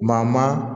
Maa maa